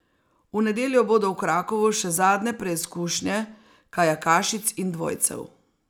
V nedeljo bodo v Krakovu še zadnje preizkušnje kajakašic in dvojcev.